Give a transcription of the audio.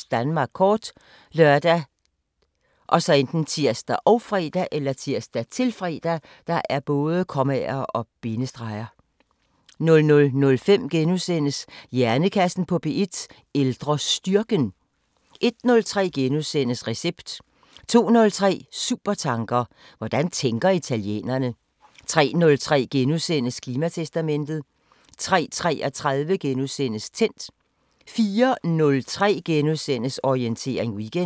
23:55: Danmark kort *( lør, tir, -fre) 00:05: Hjernekassen på P1: Ældrestyrken * 01:03: Recept * 02:03: Supertanker: Hvordan tænker italienerne? 03:03: Klimatestamentet * 03:33: Tændt * 04:03: Orientering Weekend *